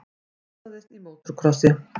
Slasaðist í mótorkrossi